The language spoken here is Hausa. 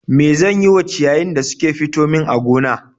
Me zan yi wa ciyayin da suke fito min a gona